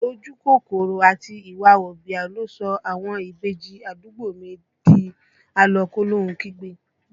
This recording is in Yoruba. Ojú kòkòrò àti ìwà wọ̀bìà ló sọ àwọn ìbejì àdúgbò mi di a lọ kólóhun kígbe